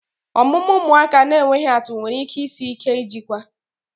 Omume ụmụaka na-enweghị atụ nwere ike isi ike ijikwa